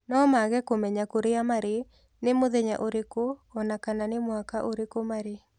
No maage kũmenya kũrĩa marĩ, nĩ mũthenya ũrĩkũ o na kana nĩ mwaka ũrĩkũ marĩ.